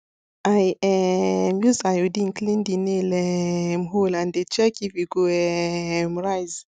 i um use iodine clean the nail um hole and dey check if e go um rise